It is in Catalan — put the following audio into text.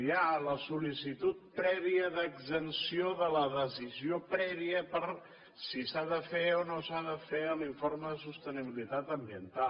hi ha la sollicitud prèvia d’exempció de la decisió prèvia per si s’ha de fer o no s’ha de fer l’informe de sostenibilitat ambiental